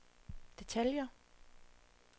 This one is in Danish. detaljer